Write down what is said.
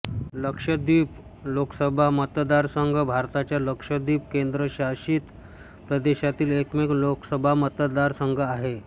लक्षद्वीप लोकसभा मतदारसंघ भारताच्या लक्षद्वीप केन्द्रशासित प्रदेशातील एकमेव लोकसभा मतदारसंघ आहे